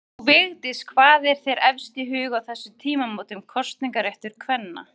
Frú Vigdís, hvað er þér efst í huga á þessum tímamótum kosningaréttar kvenna?